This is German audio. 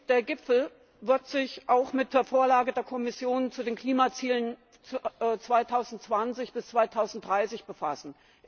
Der Gipfel wird sich auch mit der Vorlage der Kommission zu den Klimazielen 2020 bis 2030 befassen.